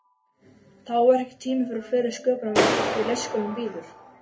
Þá er ekki tími fyrir fleiri sköpunarverk því leikskólinn bíður.